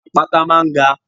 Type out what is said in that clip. Àpáta máa ń ga.